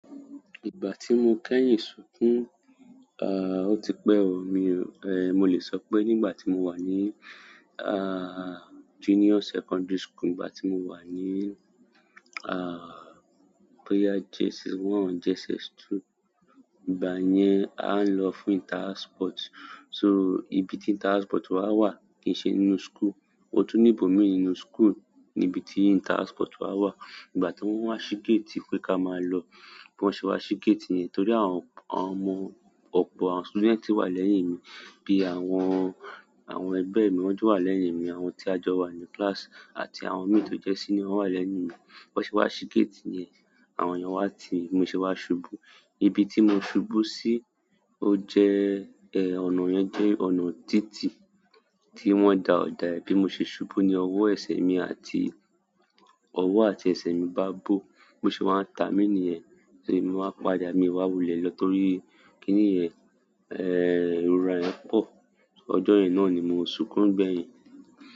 Ìgbà tí mo kẹ́yìn sunkún? Ah! Ò ti pẹ́ o, mi-- eh mo lè sọ pé nígbà tí mo wà ní ah junior secondary school, nígbà tí mo wà ní ah JSS one, JSS two, ìgbà yen á ń lọ fún inter house sport. So ibi tí inter house sport wa wà kì í ṣe nínú school. O tún ní ibòmíi nínú school níbi tí inter house sport wa wà. Nígbà tí wọ́n wá ṣí gate pé ká máa ló, bí wọ́n ṣe wá ṣí gate yẹn torí àwọn ọmọ ọ̀pọ̀ àwọn student ti wà lẹ́yìn mi, bí i àwọn, àwọn ẹgbẹ́ mi ọjọ́ wà lẹ́yìn mi, àwọn tí a jọ wà ní class àti àwọn mate tó jẹ́ seníor won wà lẹ́yìn mi. Bi wọ́n ṣe wá ṣí gate yẹn, àwọn èèyàn wá ti-- mo ṣe wá ṣubú. Ibi tí mo ṣubú sí, o jẹ́ ẹh ọ̀nà yẹn jẹ́ ọ̀nà títì tí wọ́n da ọ̀dà, bí mo ṣe ṣubú ní ọwọ́, ẹsẹ̀ mi àti ọwọ́ àti ẹsẹ̀ mi bá bò, bí mo ṣe wá ń ta mí ní ẹ, torí mo wá padà, mi wá wulẹ̀ lọ torí kíní ẹh irora yẹn pọ̀. Ọjọ́ yẹn náà ni mo sunkún gbẹ̀yìn.